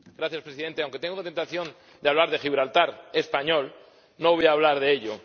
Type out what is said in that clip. Señor Presidente, aunque tengo la tentación de hablar de Gibraltar español, no voy a hablar de ello.